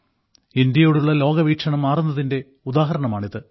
ഇന്ത്യയോടുള്ള ലോകവീക്ഷണം മാറുന്നതിന്റെ ഉദാഹരണമാണിത്